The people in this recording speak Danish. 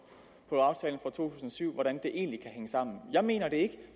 syv hvordan det egentlig kan hænge sammen jeg mener det ikke